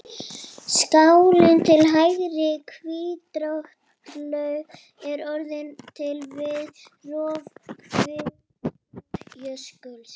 Skálin til hægri, Hvítárdalur, er orðin til við rof hvilftarjökuls.